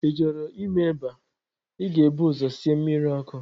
Ị chọrọ ime eba, ị ga-ebu ụzọ sie mmiri ọkụ